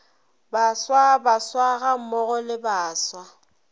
baswa baswa gammogo le baswa